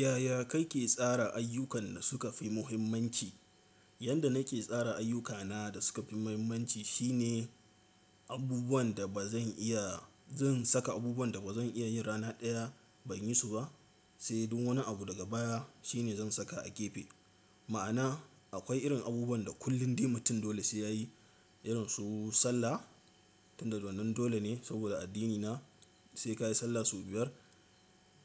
Yaya kake tsara ayyukan da suka fi muhimmanci? Yanda nake tsara ayyukana da suka fi muhimmanci shine abubuwan da ba zan iya, zan saka abubuwan da ba zan iya yin rana ɗaya ban yi su ba, sai dun wani abu daga baya shine zan saka a gefe. Ma'ana akwai irin abubuwan da kullum dai mutum dole sai ya yi, irin su sallah. Tunda wannan dole ne saboda addinina sai ka yi sallah sau biyar